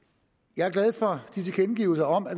jeg er glad for tilkendegivelserne om at